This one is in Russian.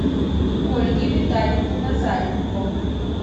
ольги витальевны назаренко